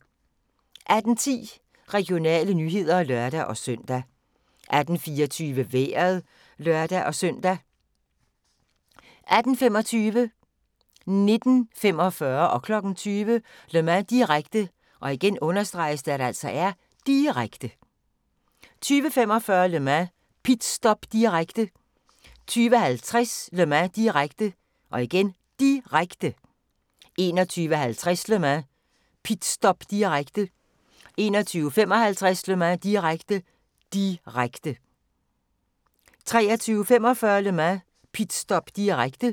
18:10: Regionale nyheder (lør-søn) 18:24: Vejret (lør-søn) 18:25: Le Mans – direkte, direkte 19:45: Le Mans – direkte, direkte 20:00: Le Mans – direkte, direkte 20:45: Le Mans – pitstop, direkte 20:50: Le Mans – direkte, direkte 21:50: Le Mans – pitstop, direkte 21:55: Le Mans – direkte, direkte 23:45: Le Mans – pitstop, direkte